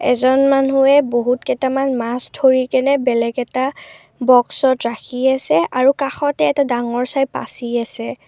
এজন মানুহে বহুত কেইটামান মাছ ধৰিকেনে বেলেগ এটা বক্সত ৰাখি আছে আৰু কাষতে এটা ডাঙৰ চাই পাচি আছে।